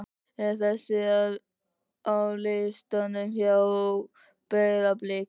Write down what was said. er þessi á listanum hjá Breiðablik?